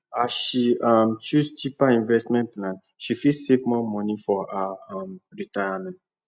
as she um choose cheaper investment plan she fit save more money for her um retirement